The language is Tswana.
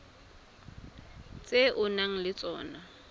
tse o nang le tsona